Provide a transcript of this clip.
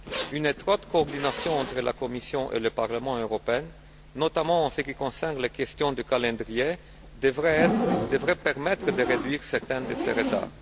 Une étroite coordination entre la Commission et le Parlement européen, notamment en ce qui concerne les questions du calendrier, devrait permettre de réduire certains de ces retards.